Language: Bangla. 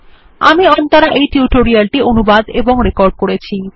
আমি অন্তরা এই টিউটোরিয়াল টি অনুবাদ এবং রেকর্ড করেছি